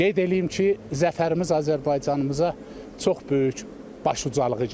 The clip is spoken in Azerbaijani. Qeyd eləyim ki, zəfərimiz Azərbaycanımıza çox böyük başucalığı gətirdi.